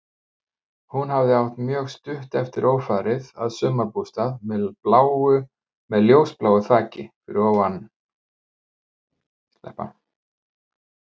Hún hafði átt mjög stutt eftir ófarið að sumarbústað með ljósbláu þaki, fyrir innan Gluggafoss.